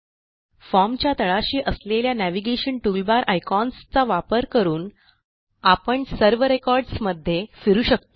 Formच्या तळाशी असलेल्या navigation toolbar icons चा वापर करून आपण सर्व recordsमध्ये फिरू शकतो